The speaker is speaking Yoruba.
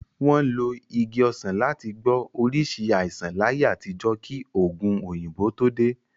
Wọ́n lo Igi ọsan láti gbọ́ oríṣìí àìsàn láyé àtijọ́ kí òògun òyìnbó tó dé.